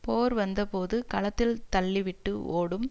போர் வந்த போது களத்தில் தள்ளி விட்டு ஓடும்